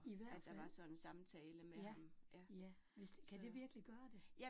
I hvert fald, ja, ja, hvis, kan det virkelig gøre det?